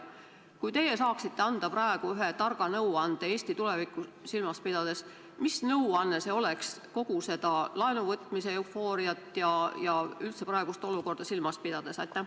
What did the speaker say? Kui teie saaksite anda praegu ühe targa nõuande Eesti tulevikku silmas pidades, siis mis nõuanne see oleks, kogu seda laenuvõtmise eufooriat ja üldse praegust olukorda silmas pidades?